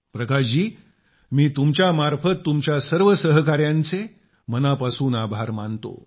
प्रकाश जी मी तुमच्या मार्फत तुमच्या सर्व सहकार्यांचे मनापासून आभार मानतो